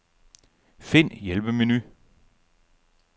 Find hjælpemenu.